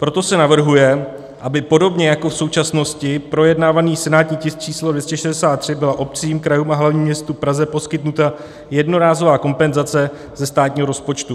Proto se navrhuje, aby podobně jako v současnosti projednávaný senátní tisk číslo 263 byla obcím, krajům a hlavnímu městu Praze poskytnuta jednorázová kompenzace ze státního rozpočtu.